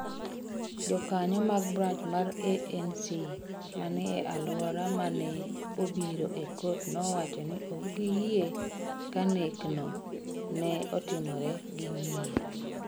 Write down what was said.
Jokanyo mag branch mar ANC ma ni e alwora ma ne obiro e kot nowacho ni ok giyie ka nekno ne otimore gi ng’iyo.